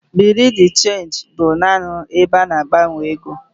Bureau de change bụbu naanị ebe a na-agbanwe ego.